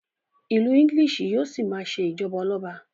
ilú English yíò sí ma ṣe ijọba Ọlọba